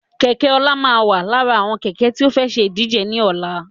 Kẹ̀kẹ́ ọlá máa wà lára àwọn Kẹ̀kẹ́ tí ó fẹ́ ṣe ìdíje ni ọ̀la